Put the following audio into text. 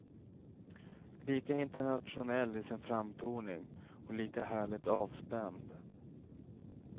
Lika internationell i sin framtoning och lika härligt avspänd.